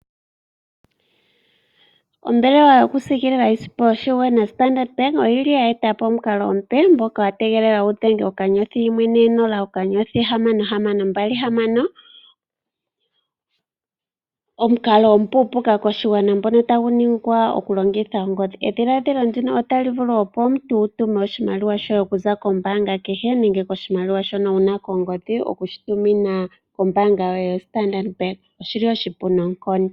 Ombelewa yokusiikilila iisimpo yoshigwana Standard Bank oyi li ye eta po omukalo omupe moka wa tegelelwa wu dhenge *140*6626 omukalo omupuupuka koshigwana ngono tagu ningwa okulongitha ongodhi. Edhiladhilo ndino otali vulu opo omuntu wu tume oshimaliwa shoye okuza kombaanga kehe nenge koshimaliwa shono wu na kongodhi okushitumina kombaanga yoye yaStandard Bank oshi li oshipu noonkondo.